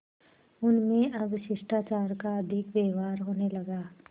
उनमें अब शिष्टाचार का अधिक व्यवहार होने लगा